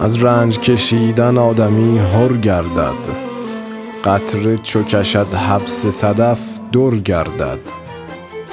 از رنج کشیدن آدمی حر گردد قطره چو کشد حبس صدف در گردد